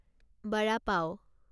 বড়া পাও